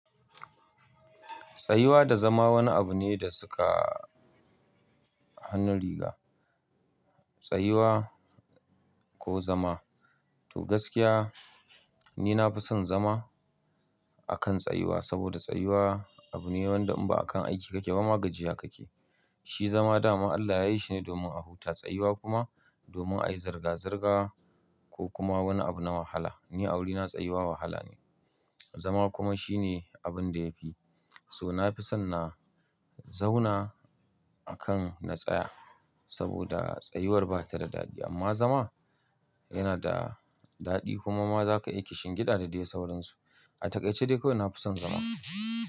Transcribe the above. Tsayuwa da zama wani abu ne da suka hannun riga. Tsayuwa ko zama to gaskiya ni nafi son zama akan tsayuwa saboda tsayuwa abu ne wanda in ba akan aiki kake ba ma gajiya kake. Shi zama dama Allah ya yi shi ne domin a huta, tsayuwa kuma domin ayi zirga-zirga ko kuma wani abu na wahala. Ni a wurina tsayuwa wahala ne, zama kuma shine abun da yafi. So nafi son na zauna akan na tsaya saboda tsayuwar ba ta da daɗi amma zama yana da daɗi kuma ma zaka iya kishin gida da dai sauransu. A takaice dai kawai nafi son zama.